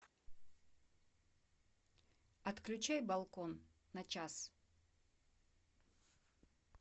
отключай балкон на час